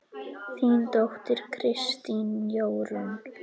Þín dóttir, Kristín Jórunn.